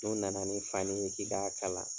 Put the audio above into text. N'u nana ni fani ye k'i k'a kala,